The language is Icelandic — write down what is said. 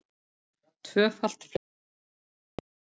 Tvöfalt fleiri nauðungarsölur